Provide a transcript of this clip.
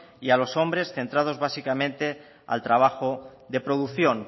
y a los hombres centrados básicamente al trabajo de producción